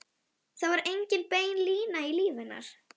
Það var engin bein lína í lífi hennar.